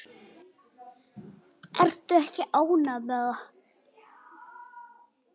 Ertu ekki ánægð með það?